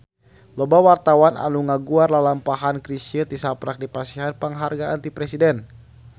Loba wartawan anu ngaguar lalampahan Chrisye tisaprak dipasihan panghargaan ti Presiden